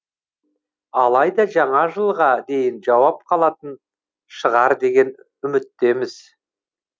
алайда жаңа жылға дейін жауып қалатын шығар деген үміттеміз